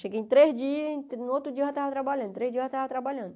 Cheguei em três dias, no outro dia eu já estava trabalhando, três dias eu já estava trabalhando.